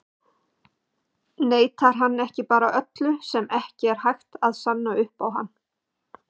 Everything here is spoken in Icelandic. Neitar hann ekki bara öllu sem ekki er hægt að sanna upp á hann?